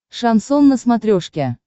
шансон на смотрешке